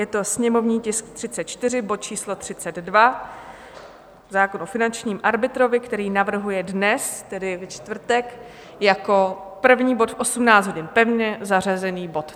Je to sněmovní tisk 34, bod číslo 32, zákon o finančním arbitrovi, který navrhuje dnes, tedy ve čtvrtek, jako první bod v 18 hodin, pevně zařazený bod.